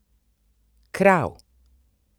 Krav!